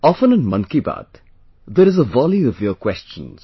Often in Mann Ki Baat there is a volley of your questions